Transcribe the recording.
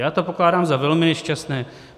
Já to pokládám za velmi nešťastné.